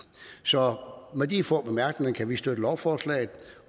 så med de få bemærkninger kan vi støtte lovforslaget